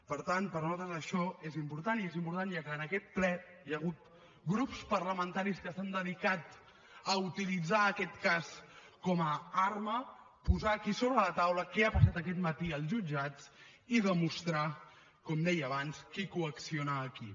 per tant per nosaltres això és important i és important ja que en aquest ple hi ha hagut grups parlamentaris que s’han dedicat a utilitzar aquest cas com a arma posar aquí sobre la taula què ha passat aquest matí als jutjats i demostrar com deia abans qui coacciona a qui